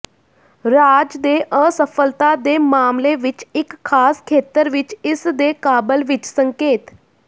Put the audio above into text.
ਰਾਜ ਦੇ ਅਸਫਲਤਾ ਦੇ ਮਾਮਲੇ ਵਿੱਚ ਇੱਕ ਖਾਸ ਖੇਤਰ ਵਿੱਚ ਇਸ ਦੇ ਕਾਬਲ ਵਿੱਚ ਸੰਕੇਤ